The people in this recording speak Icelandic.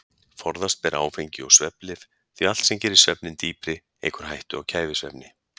Forðast ber áfengi og svefnlyf því allt sem gerir svefninn dýpri eykur hættu á kæfisvefni.